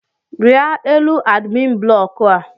rie elu adimin buloku a!